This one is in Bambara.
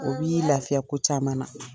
O b'i lafiya ko caman na